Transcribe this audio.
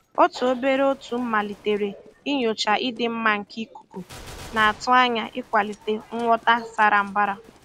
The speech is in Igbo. Otu obere otu malitere inyocha ịdị mma nke ikuku, na-atụ anya ịkwalite nghọta sara mbara.